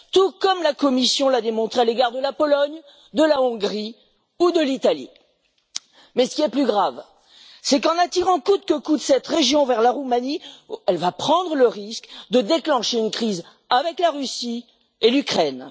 Tout comme la Commission l'a démontré à l'égard de la Pologne, de la Hongrie ou de l'Italie. Mais, ce qui est plus grave, c'est qu'en attirant coûte que coûte cette région vers la Roumanie, elle va prendre le risque de déclencher une crise avec la Russie et l'Ukraine.